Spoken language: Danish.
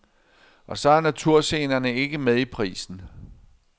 Og så er naturscenerne ikke med i prisen.